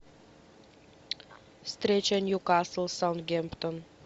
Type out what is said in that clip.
встреча ньюкасл саутгемптон